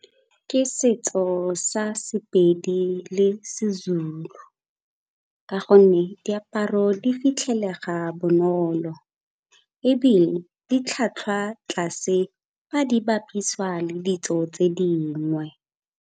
Ke setso sa sePedi le seZulu ka gonne diaparo di fitlhelega bonolo ebile di tlhwatlhwa tlase ba di bapisiwa le ditso tse dingwe.